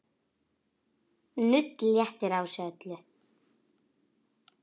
Nudd léttir á þessu öllu.